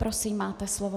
Prosím, máte slovo.